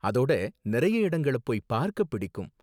அதோட நிறைய இடங்கள போய் பார்க்க பிடிக்கும்.